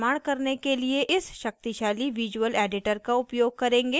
इसके लिए मैं एक system का उपयोग कर रही हूँ जिसमें हैं